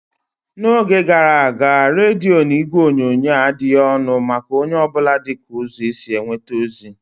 N'oge gara aga, rediyo na igwe onyonyo adịghị ọnụ maka onye ọ bụla dịka ụzọ esi enweta ozi.